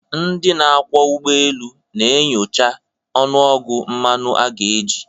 ndị na-akwọ ụgbọ elu, na-enyocha ọnụọgụ mmanụ a ga-eji